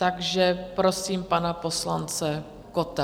Takže prosím pana poslance Kotta.